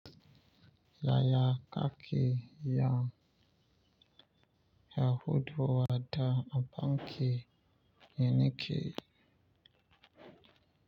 Yaya kake ya Yahuduwa da aboki ya niki?